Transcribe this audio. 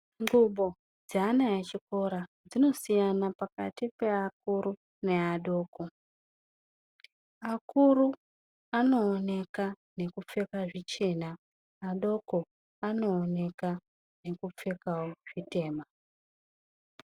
Ngubo dzeana echikora dzinosiyana pakati peakuru neadoko. Akuru anooneka nekupfeka zvichena. Adoko anooneka nekupfekawo zvitema.